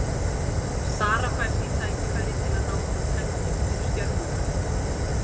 Sara fær því tækifæri til að ná fram hefndum fyrir Stjörnuna.